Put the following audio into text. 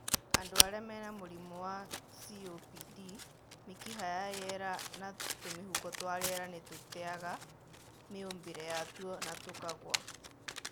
Andũ arĩa mena mũrimũ wa COPD, mĩkiha ya rĩera na tũmĩhuko twa rĩera nĩtũteaga mĩũmbĩre yatuo na tũkagũa